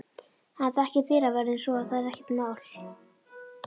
Hann þekkir dyravörðinn svo að það er ekkert mál.